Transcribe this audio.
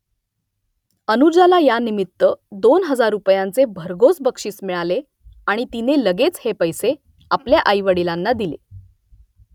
अनुजाला यानिमित्त दोन हजार रुपयांचे भरघोस बक्षीस मिळाले आणि तिने लगेच हे पैसे आपल्या आईवडिलांना दिले